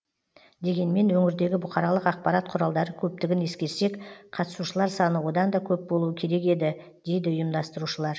дегенмен өңірдегі бұқаралық ақпарат құралдары көптігін ескерсек қатысушылар саны одан да көп болуы керек еді дейді ұйымдастырушылар